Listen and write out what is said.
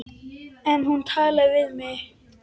En hún talaði við mig.